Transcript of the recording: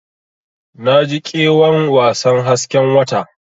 Naji ƙewan wasan hasken wata.